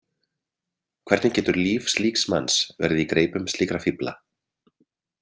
Hvernig getur líf slíks manns verið í greipum slíkra fífla?